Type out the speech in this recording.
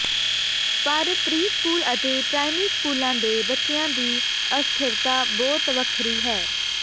ਪਰ ਪ੍ਰੀਸਕੂਲ ਅਤੇ ਪ੍ਰਾਇਮਰੀ ਸਕੂਲਾਂ ਦੇ ਬੱਚਿਆਂ ਦੀ ਅਸਥਿਰਤਾ ਬਹੁਤ ਵੱਖਰੀ ਹੈ